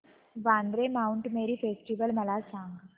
Vandre Mount Mary festival मला सांग